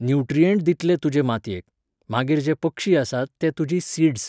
nutrient दितले तुजे मातयेक, मागीर जे पक्षी आसात ते तुजी सीड्स